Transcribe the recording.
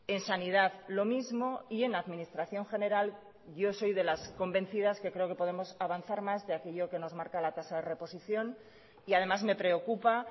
en sanidad lo mismo y en administración general yo soy de las convencidas que creo que podemos avanzar más de aquello que nos marca la tasa de reposición y además me preocupa